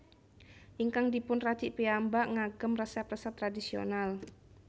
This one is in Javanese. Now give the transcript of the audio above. Ingkang dipun racik piyambak ngagem resep resep tradisional